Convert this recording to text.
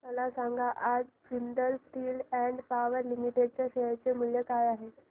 मला सांगा आज Jindal steel and power limited च्या शेअर चे मूल्य काय आहे